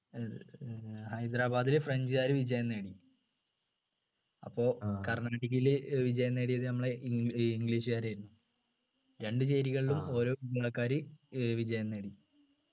ഏർ ഹൈദരാബാദിൽ french കാര് വിജയം നേടി അപ്പൊ കർണാടകയിൽ ഏർ വിജയം നേടിയത് നമ്മളെ ഏർ english കാരായിരുന്നു രണ്ടു ചേരികളിലും ഓരോ ഏർ വിജയം നേടി